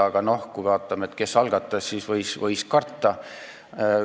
Aga kui vaatasime, kes arutelu algatas, siis oli teada, mida võib karta.